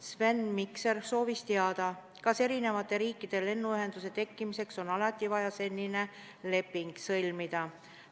Sven Mikser soovis teada, kas eri riikide lennuühenduse tekkimiseks on alati vaja selline leping sõlmida.